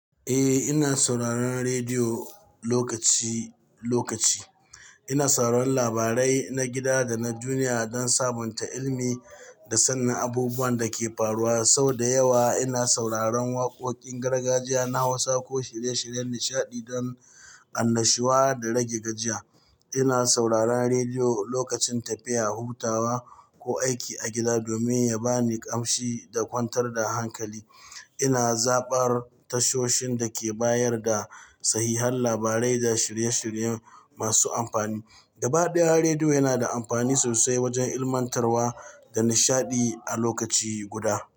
Eh, ina sauraron rediyo lokaci-lokaci. Ina sauraron labarai na gida da na duniya don sabunta ilimi da sanin abubuwan da ke faruwa. Sau da yawa ina sauraron waƙoƙin gargajiya na Hausa ko shirye-shiryen nishaɗi don annashuwa da rage gajiya. Ina sauraron rediyo lokacin tafiya, hutawa, ko aiki a gida domin ya ba ni ƙamshi da kwantar da hankali. Ina zabar tashoshin da ke bayar da sahihan labarai da shirye-shirye masu amfani. Gabaɗaya, rediyo yana da amfani sosai wajen ilmantarwa da nishaɗi a lokaci guda.